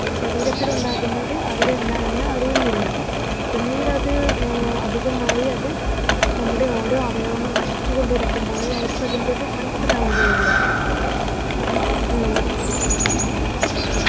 ശരീരത്തിലുണ്ടാകുന്നത് അവരെന്താണെന്നു അറിയുന്നില്ല പിന്നീടത് ഹും അധികമായി അത് നമ്മുടെ ഓരോ അവയവങ്ങൾ നശിച്ചുകൊണ്ടിരിക്കുമ്പോഴെ അവർക്കതിൻ്റെത് മനസിലാവുകയുള്ളു